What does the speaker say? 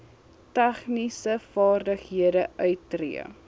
tegniese vaardighede uittree